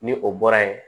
Ni o bɔra yen